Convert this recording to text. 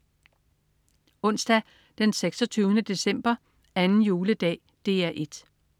Onsdag den 26. december. 2. juledag - DR 1: